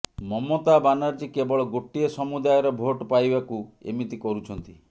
ମମତା ବାନାର୍ଜୀ କେବଳ ଗୋଟିଏ ସମୁଦାୟର ଭୋଟ ପାଇବାକୁ ଏମିତି କରୁଛନ୍ତି